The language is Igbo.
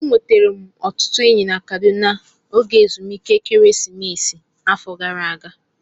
E nwetara m ọtụtụ enyi na Kaduna n'oge ezumike ekeresimesi nke afọ gara ágá